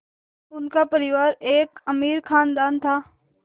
उनका परिवार एक अमीर ख़ानदान था